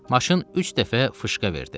Maşın üç dəfə fışqa verdi.